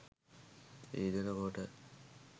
යෙදෙන කොට